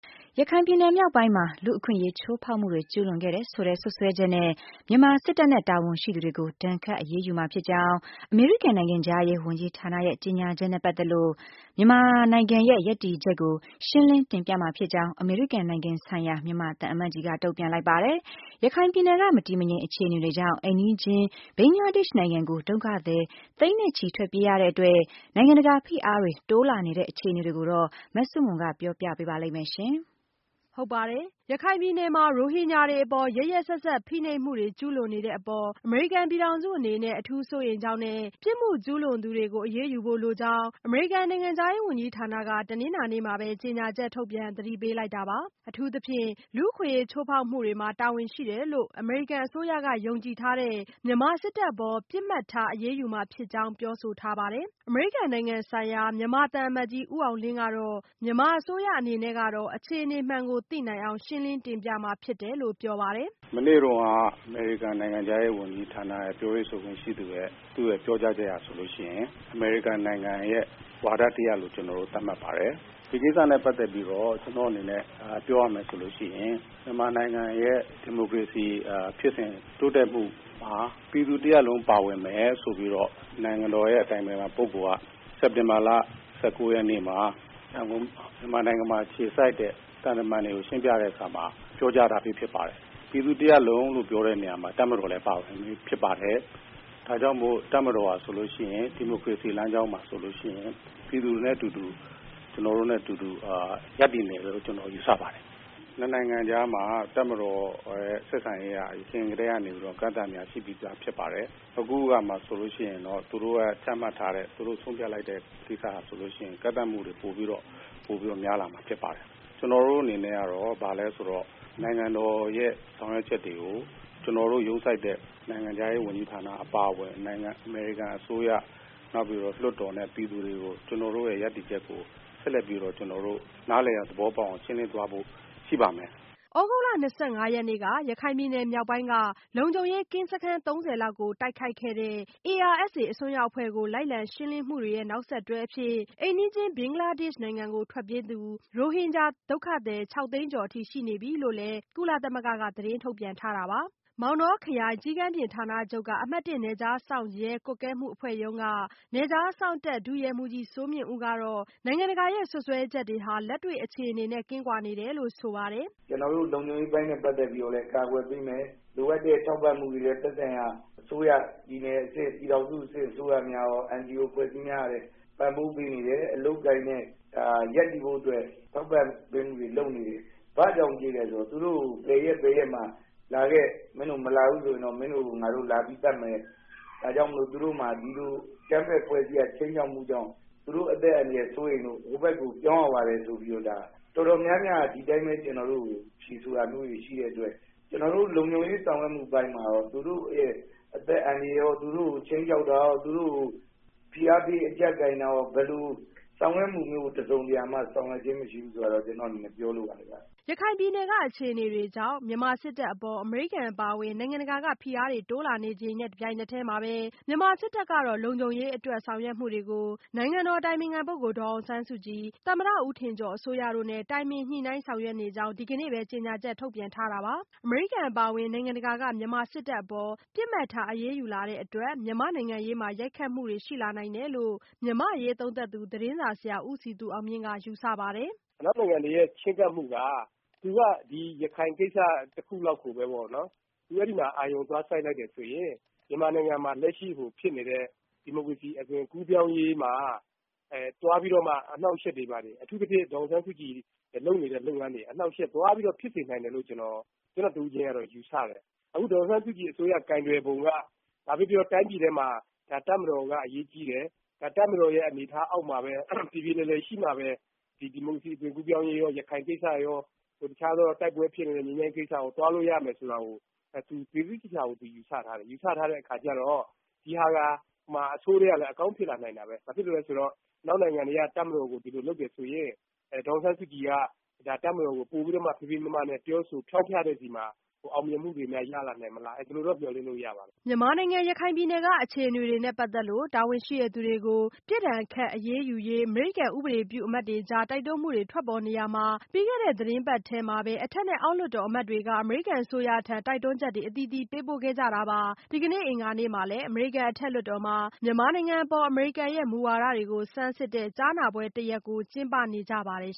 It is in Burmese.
ရခိုင်ပြည်နယ် မြောက်ပိုင်းမှာ လူ့အခွင့်အရေး ချိုးဖောက်မှုတွေ ကျုးလွန်ခဲ့တယ်ဆိုတဲ့ စွပ်စွဲချက်နဲ့ မြန်မာစစ်တပ်နဲ့ တာဝန်ရှိသူတွေကို ဒဏ်ခတ်အရေးယူမှာဖြစ်ကြောင်း အမေရိကန် နိုင်ငံခြားရေးဝန်ကြီးဌာနရဲ့ ကြေညာချက်နဲ့ ပတ်သက်လို့ မြန်မာနိုင်ငံရဲ့ ရပ်တည်ချက်ကို ရှင်းလင်းတင်ပြမှာဖြစ်ကြောင်း အမေရိကန်နိုင်ငံဆိုင်ရာ မြန်မာသံအမတ်ကြီးက တုံ့ပြန်လိုက်ပါတယ်။ ရခိုင်ပြည်နယ်က မတည်မငြိမ် အခြေအနေတွေကြောင့် အိမ်နီးချင်း ဘင်္ဂလားဒေ့ရှ်နိုင်ငံကို ဒုက္ခသည်သိန်းနဲ့ချီ ထွက်ပြေးရတဲ့အတွက် နိုင်ငံတကာ ဖိအားတွေ တိုးလာနေတဲ့ အခြေအနေတွေကိုတော့ မဆုမွန်က ပြောပြပေးမှာ ဖြစ်ပါတယ်။ ရခိုင်ပြည်နယ်မှာ ရိုဟင်ဂျာတွေအပေါ် ရက်ရက်စက်စက် ဖိနှိပ်မှုတွေ ကျုးလွန်နေတဲ့အပေါ် အမေရိကန် ပြည်ထောင်စုအနေနဲ့ အထူးစိုးရိမ်ကြောင်းနဲ့ ပြစ်မှုကျူးလွန်သူတွေကို အရေးယူဖို့လိုကြောင်း အမေရိကန် နိုင်ငံခြားရေးဝန်ကြီးဌာနက တနင်္လာနေ့မှာပဲ ကြေညာချက်ထုတ်ပြန် သတိပေးလိုက်တာပါ။ အထူးသဖြင့် လူ့အခွင့်အရေး ချိုးဖောက်မှုတွေမှာ တာဝန်ရှိတယ်လို့ အမေရိကန် အစိုးရက ယုံကြည်ထားတဲ့ မြန်မာစစ်တပ်အပေါ် ပစ်မှတ်ထား အရေးယူမှာဖြစ်ကြောင်း ပြောဆိုထားပါတယ်။ အမေရိကန်နိုင်ငံဆိုင်ရာ မြန်မာသံအမတ်ကြီး ဦးအောင်လင်းကတော့ မြန်မာအစိုးရ အနေနဲ့ကတော့ အခြေအနေမှန်ကို သိနိုင်အောင် ရှင်းလင်းတင်ပြမှာဖြစ်တယ်လို့ ပြောပါတယ်။ “မနေ့တုန်းက အမေရိကန်နိုင်ငံခြားရေးဝန်ကြီးဌာနရဲ့ ပြောရေးဆိုခွင့်ရှိသူရဲ့ ပြောကြားချက်အရဆိုရင် အမေရိကန်နိုင်ငံရဲ့ ဝါဒတရပ်လို့ ကျနော်တို့ သတ်မှတ်ပါတယ်။ ဒီကိစ္စနဲ့ ပတ်သက်ပြီးတော့ ကျနော့်အနေနဲ့ ပြောရမယ်ဆိုရင် မြန်မာနိုင်ငံရဲ့ ဒီမိုကရေစီဖြစ်စဉ်တိုးတက်မှုဟာ ပြည်သူတရပ်လုံးပါဝင်တယ်ဆိုပြီးတော့ နိုင်ငံတော်အတိုင်ပင်ခံပုဂ္ဂိုလ်က စက်တင်ဘာ ၁၉ မှာ မြန်မာနိုင်ငံမှာ အခြေစိုက်တဲ့ သံတမန်တွေကို ရှင်းပြတဲ့အခါမှာ ပြောကြားထားပြီးဖြစ်ပါတယ်။ ပြည်သူတရပ်လုံးလို့ပြောတဲ့နေရာမှာ တပ်မတော်လည်းပါပါတယ်။ ဒါကြောင့်မို့လို့ တပ်မတော်ဟာဆိုရင် ဒီမိုကရေစီလမ်းကြောင်းမှာဆိုရင် ပြည်သူနဲ့အတူတူ ကျနော်တို့နဲ့ အတူတူ ရပ်တည်နေမယ်လို့ ကျနော်တို့ ယူဆပါတယ်။ ၂ နိုင်ငံကြားမှာ တပ်မတော်ရဲ့ ဆက်ဆံရေးက အရင်ကတည်းကနေပြီးတော့ အကန့်အသတ်တွေက ရှိပြီးသားဖြစ်ပါတယ်။ အခု သူတို့ချမှတ်ထားတဲ့ ဆုံးဖြတ်လိုက်တာတွေဆိုရင်တော့ ကန့်သတ်မှုတွေ ပိုပြီးတော့ များလာမှာ ဖြစ်ပါတယ်။ ကျနော်တို့အနေနဲ့ကတော့ ဘာလဲဆိုတော့ နိုင်ငံတော်ရဲ့ ဆောင်ရွက်ချက်တွေကို ကျနော်တို့ ရုံးဆိုက်တဲ့ နိုင်ငံခြားရေးဝန်ကြီးဌာအပါအဝင် အမေရိကန်အစိုးရ လွှတ်တော်နဲ့ ပြည်သူတွေကို ကျနော်တို့ရဲ့ ရပ်တည်ချက်ကို ဆက်လက်ပြီးတော့ ကျနော်တို့ နားလည်သဘောပေါက်အောင် ရှင်းလင်းသွားဖို့ ရှိပါမယ်။” သြဂုတ်လ ၂၅ ရက်နေ့က ရခိုင်ပြည်နယ် မြောက်ပိုင်းက လုံခြုံရေးကင်းစခန်း ၃၀ လောက်ကို တိုက်ခိုက်ခဲ့တဲ့ ARSA အစွန်းရောက်အဖွဲ့ကို လိုက်လံရှင်းလင်းမှုတွေရဲ့ နောက်ဆက်တွဲအဖြစ်၊ အိမ်နီးချင်း ဘင်္ဂလားဒေ့ရှ်နိုင်ငံကို ထွက်ပြေးသူ ရိုဟင်ဂျာ ဒုက္ခသည် ၆ သိန်းကျော်အထိ ရှိနေပြီလို့လည်း ကုလသမဂ္ဂက သတင်းထုတ်ပြန်ထားတာပါ။မောင်တောခရိုင် ကျီးကန်းပြင်ဌာနချုပ်က အမှတ်(၁) နယ်ခြားစောင့်ရဲကွပ်ကဲမှုအဖွဲ့မှူးရုံးက နယ်ခြားစောင့်တပ် ဒုရဲမှူးကြီးစိုးမြင့်ဦးကတော့ နိုင်ငံတကာရဲ့ စွပ်စွဲချက်တွေဟာ လက်တွေ့အခြေအနေနဲ့ ကင်းကွာနေတယ်လို့ ဆိုပါတယ်။ “ကျနော်တို့ လုံခြုံပေးအပိုင်းနဲ့ ပတ်သက်ပြီးတော့လည်း ကာကွယ်ပေးမယ်။ လိုအပ်တဲ့ထောက်ပံ့မှုတွေနဲ့ သက်ဆိုင်ရာအစိုးရ ၊ ပြည်နယ်အဆင့်၊ ပြည်ထောင်စုအဆင့် အစိုးရများရော NGO အဖွဲ့အစည်းများ ကလည်း ပံ့ပိုးပေးနေတယ်။ အလုပ်အကိုင်နဲ့ ရပ်တည်ဖို့အတွက်လည်း ထောက်ပံ့ပေးမှုတွေလည်း လုပ်နေတယ်။ ဘာကြောင့်ပြေးသလဲဆိုတော့ ဘယ်ရက်၊ ဘယ်ရက်မှာ လာခဲ့ မင်းတို့ မလာဘူးဆိုရင်တော့ မင်းတို့ကို လာပြီးတော့ သတ်မယ် ၊ ဒါကြောင့်မို့လို့ သူတို့မှာ ဒီလိုအကြမ်းဖက်အဖွဲ့အစည်းရဲ့ ခြိမ်းခြောက်မှုကြောင့် သူတို့ အသက်အန္တရာယ် စိုးရိမ်လို့ ဟိုဘက်ကို ပြောင်းရပါတယ်ဆိုတာ တော်တော်များများက ဒီအတိုင်းပဲ ကျနော်တို့ဆီကို ဖြေဆိုတာမျိုးတွေ ရှိတဲ့အတွက် ကျနော်တို့ လုံခြုံရေးဆောင်ရွက်မှုအပိုင်းမှာရော သူတို့ရဲ့အသက်အန္တရာယ်ရော၊ သူတို့ကို ခြိမ်းခြောက်တာရော သူတို့ကို ဖိအားပေးအကျပ်ကိုင်တာရော ဘယ်လိုဆောင်ရွက်မှုမျိုးကို တစုံတရာမှာ ဆောင်ရွက်ခြင်းမရှိဘူး ဆိုတာကိုတော့ ကျနော့်အနေနဲ့ ပြောလိုပါတယ်ခင်ဗျ။” ရခိုင်ပြည်နယ်က အခြေအနေတွေကြောင့် မြန်မာစစ်တပ်အပေါ် အမေရိကန် အပါအဝင် နိုင်ငံတကာက ဖိအားတွေ တိုးလာနေတဲ့ တချိန်တည်းမှာပဲ မြန်မာစစ်တပ်ကတော့ လုံခြုံရေးအတွက် ဆောင်ရွက်မှုတွေကို နိုင်ငံတော်အတိုင်ပင်ခံပုဂ္ဂိုလ် ဒေါ်အောင်ဆန်းစုကြည်၊ သမ္မတ ဦးထင်ကျော် အစိုးရတို့နဲ့ တိုင်ပင်ညှိနှိုင်းဆောင်ရွက်နေကြောင်း ဒီကနေ့ပဲ ကြေညာချက် ထုတ်ပြန်ထားတာပါ။ အမေရိကန် အပါအဝင် နိုင်ငံတကာက မြန်မာစစ်တပ်အပေါ် ပစ်မှတ်ထား အရေးယူလာတဲ့အတွက် မြန်မာ့နိုင်ငံရေးမှာ ရိုက်ခတ်မှုတွေ ရှိလာနိုင်တယ်လို့ မြန်မာ့အရေးသုံးသပ်သူ သတင်းစာဆရာ ဦးစည်သူအောင်မြင့်က ယူဆပါတယ်။ “အနောက်နိုင်ငံတွေရဲ့ ချဉ်းကပ်မှုက သူက ရခိုင်ကိစ္စတခုလောက်ကိုပဲပေါ့နော် အဲဒီမှာ အာရုံသွားစိုက်လိုက်တယ်ဆိုရင် မြန်မာနိုင်ငံမှာ လက်ရှိဖြစ်နေတဲ့ အသွင်ကူးပြောင်းရေးမှာ သွားပြီးတော့ အနှောင့်အယှက်တွေ၊ ပြီးတော့ အထူးသဖြင့် ဒေါ်အောင်ဆန်းစုကြည် လုပ်နေတဲ့ လုပ်ငန်းတွေ အနှောင့်အယှက်သွားပြီးတော့ ဖြစ်စေနိုင်တယ်လို့ ကျနော်တဦးချင်းတော့ ယူဆတယ်။ အခု ဒေါ်အောင်ဆန်းစုကြည်အစိုးရ ကိုင်တွယ်ပုံက ဘာပဲပြောပြော တိုင်းပြည်ထဲမှာ တပ်မတော်က အရေးကြီးတယ်။ တပ်မတော်ရဲ့ အနေအထားအောက်မှာပဲ ပြေပြေလည်လည်ရှိမှပဲ ဒီမိုကရေစီ အသွင်ကူးပြောင်းရေးရော၊ ရခိုင်ကိစ္စရော တခြားသော တိုက်ပွဲဖြစ်နေတဲ့ ငြိမ်းချမ်းရေးကိစ္စရော သွားလို့ရမယ်ဆိုတာကို ယူဆထားတယ်။ ယူဆထားတဲ့ အခါကျတော့ ဒီဟာက အဆိုးထဲကလည်း အကောင်းဖြစ်လာနိုင်တာပဲ ဘာဖြစ်လို့လဲဆိုတော့ အနောက်နိုင်ငံတွေက တပ်မတော်ကို ဒီလိုလုပ်တယ်ဆိုရင် ဒေါ်အောင်ဆန်းစုကြည် က ပိုပြီးတော့ ဖေးဖေးမမနဲ့ ပြောဆိုဖျောင်းဖျတဲ့အခါမှာ ပိုပြီးတော့ အောင်မြင်မှုတွေရလာနိုင်မလား ဒီလိုတော့ မျှော်လင့်လို့တော့ ရပါတယ်။” မြန်မာနိုင်ငံ ရခိုင်ပြည်နယ်က အခြေအနေတွေနဲ့ ပတ်သက်လို့ တာဝန်ရှိသူတွေကို ပြစ်ဒဏ်ခတ် အရေးယူရေး အမေရိကန် ဥပဒေပြုအမတ်တွေကြား တိုက်တွန်းမှုတွေ ထွက်ပေါ်နေရာမှာ၊ ပြီးခဲ့တဲ့ သီတင်းပတ်ထဲမှာပဲ အထက်နဲ့ အောက်လွှတ်တော် အမတ်တွေက အမေရိကန် အစိုးရထံ တိုက်တွန်းချက်တွေ အသီးသီးပေးပို့ခဲ့ကြတာပါ။ ဒီကနေ့ အင်္ဂါနေ့မှာလည်း အမေရိကန် အထက်လွှတ်တော်မှာ မြန်မာနိုင်ငံအပေါ် အမေရိကန်ရဲ့ မူဝါဒတွေကို ဆန်းစစ်တဲ့ ကြားနာပွဲတရပ်ကို ကျင်းပနေကြပါတယ်